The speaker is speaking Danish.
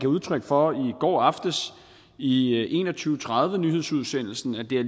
udtryk for i går aftes i en og tyve tredive nyhedsudsendelsen at det